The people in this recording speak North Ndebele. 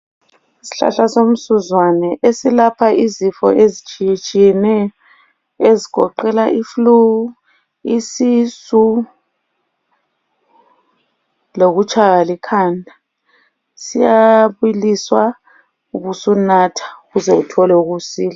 Isihlahla somsuzwana silapha izifo ezitshiyetshiyeneyo ezigoqela iflu, isisu lokutshaywa likhanda. Siyabiliswa ubusunatha ukuze uthole ukusila.